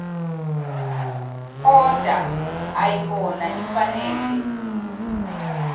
oda ayibona ifanele